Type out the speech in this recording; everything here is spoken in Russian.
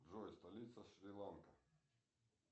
джой столица шри ланка